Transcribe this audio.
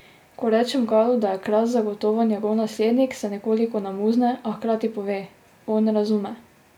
Ko rečem Galu, da je Kras zagotovo njegov naslednik, se nekoliko namuzne, a hkrati pove: "On razume.